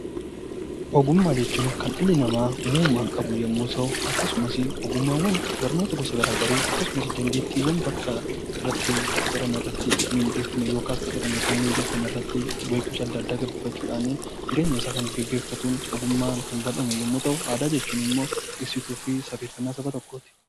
Ogummaa jechuun kan dhalli namaa uumamaan qabu yemmuu ta'u, akkasumas ogummaawwan barnoota gosa garaagaraa akkasumas dandeettiiwwan bakka irratti qacarame yookiin mundeeffame irratti hubannoo addaa addaa gabbifachuudhaan jireenya isaa kan gaggeeffatu, ogummaa argaman yemmuu ta'u, aadaa jechuun immoo ibsituu fi sabeessituu saba tokkooti.